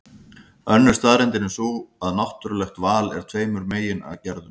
Önnur staðreyndin er sú að náttúrulegt val er af tveimur megin gerðum.